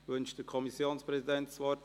Wünscht der Kommissionspräsident das Wort?